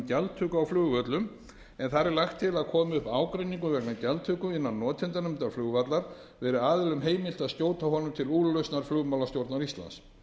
gjaldtöku á flugvöllum en þar er lagt til að komi upp ágreiningur vegna gjaldtöku innan notendanefndar flugvallar verði aðilum heimilt að skjóta honum til úrlausnar flugmálastjórnar íslands